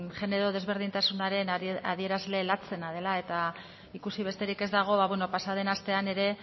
genero desberdintasunaren adierazle latzena dela eta ikusi besterik ez dago pasaden astean ere